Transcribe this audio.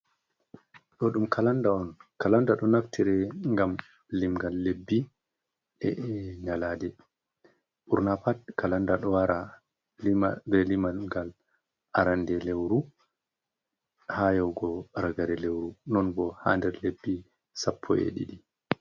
Ɗo ɗum kalanda on. Kalanda ɗo naftire ngam limngal lebbi, e nyalaade. Ɓurna pat kalanda ɗo wara be limal ngal arande lewru, haa yawugo ragare lewru. Non bo haa nder lebbi sappo e ɗiɗi.